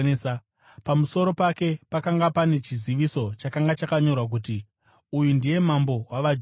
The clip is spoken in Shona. Pamusoro pake pakanga pane chiziviso chakanga chakanyorwa kuti: uyu ndiye mambo wavajudha .